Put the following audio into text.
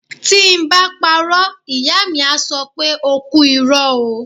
Tí ń bá parọ́, Ìyá mi á sọ pé O kú irọ́ ó.